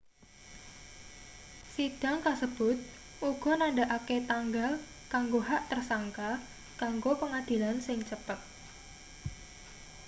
sidang kasebut uga nandhakake tanggal kanggo hak tersangka kanggo pengadilan sing cepet